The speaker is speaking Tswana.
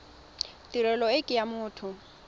tirelo e ke ya motho